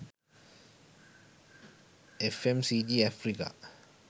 fmcg africa